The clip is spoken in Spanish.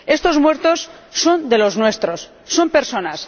Estos muertos son de los nuestros son personas.